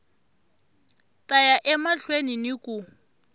ta ya emahlweni ni ku